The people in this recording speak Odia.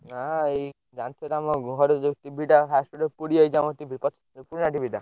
ନା ଏଇ ଜାଣିଥିବତ ଆମ ଘରେ ଯୋଉ TV ଟା ପୋଡି ଯାଇଛି ଆମ TV ପୁରୁଣା TV ଟା।